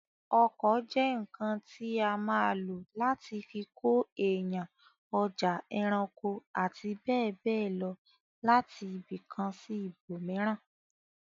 Ọkọ̀ jẹ́ ǹǹkan tí a má lò láti fi kó èèyàn, ọjà, ẹranko, àti bẹ́ẹ̀bẹ́ẹ̀ lọ láti ibìkan sí ibòmíràn